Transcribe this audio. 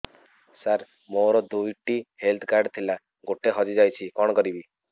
ସାର ମୋର ଦୁଇ ଟି ହେଲ୍ଥ କାର୍ଡ ଥିଲା ଗୋଟେ ହଜିଯାଇଛି କଣ କରିବି